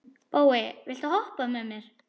Bói, viltu hoppa með mér?